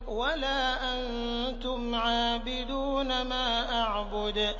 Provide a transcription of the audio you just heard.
وَلَا أَنتُمْ عَابِدُونَ مَا أَعْبُدُ